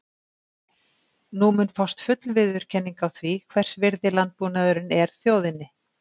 Nú mun fást full viðurkenning á því, hvers virði landbúnaðurinn er þjóðinni.